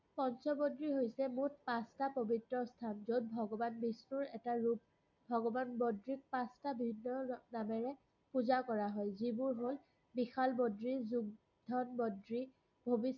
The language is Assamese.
পঞ্চ বদ্ৰী হৈছে মুঠ পাচটা পবিত্ৰ স্থান যত, ভগবান বিষ্ণুৰ এটা ৰূপ। ভগবান বদ্ৰীক পাচটা ভিন্ন নামেৰে পুজা কৰা হয়, যিবোৰ হল -বিশাল বদ্ৰী, , যোগধ্যান বদ্ৰী, ভৱিষ্যত বদ্ৰী